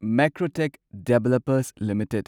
Macrotech Developers limited